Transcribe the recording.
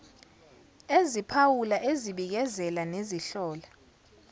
eziphawula ezibikezela nezihlola